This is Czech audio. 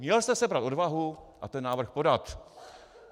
Měl jste sebrat odvahu a ten návrh podat.